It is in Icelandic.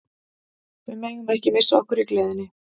Við megum ekki missa okkur í gleðinni.